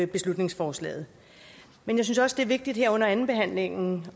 beslutningsforslaget men jeg synes også det er vigtigt her under andenbehandlingen